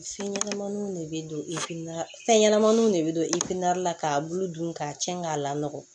Fɛn ɲɛnɛmaninw de be don i na fɛn ɲɛnamaw de be don i la k'a bulu dun k'a tiɲɛ k'a lakɔlɔ